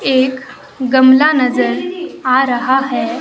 एक गमला नजर आ रहा है।